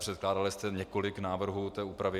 Předkládali jste několik návrhů té úpravy.